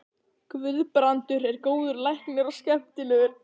Guðbrandur er góður læknir og skemmtilegur.